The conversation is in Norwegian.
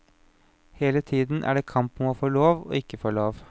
Hele tiden er det kamp om å få lov og ikke få lov.